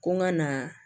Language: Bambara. Ko n ka na